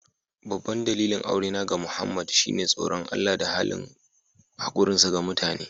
Babban dalilin aurena da Muhammad shine tsoron Allah da halin hakurinsa ga mutane.